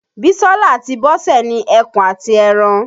Bísọ́lá àti Bọ́sẹ̀ ni ẹkùn àti ẹran.